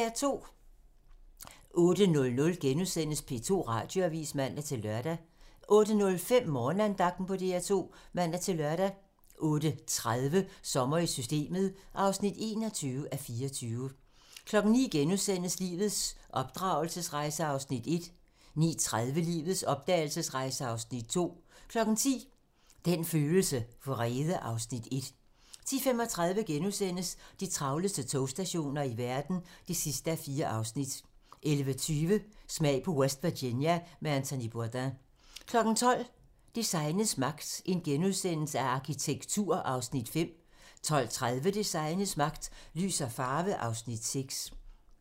08:00: P2 Radioavis *(man-lør) 08:05: Morgenandagten på DR2 (man-lør) 08:30: Sommer i Systemet (21:24) 09:00: Lives opdragelsesrejse (Afs. 1)* 09:30: Lives opdragelsesrejse (Afs. 2) 10:00: Den følelse: Vrede (Afs. 1) 10:35: De travleste togstationer i verden (4:4)* 11:20: Smag på West Virginia med Anthony Bourdain 12:00: Designets magt - Arkitektur (Afs. 5)* 12:30: Designets magt - Lys og farve (Afs. 6)